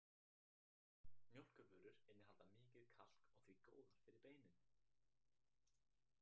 Mjólkurvörur innihalda mikið kalk og því góðar fyrir beinin.